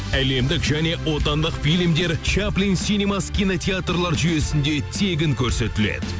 әлемдік және отандық фильмдер чаплин синемас кинотеатрлар жүйесінде тегін көрсетіледі